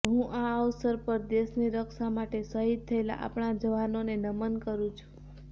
હું આ અવસર પર દેશની રક્ષા માટે શહીદ થયેલા આપણા જવાનોને નમન કરું છું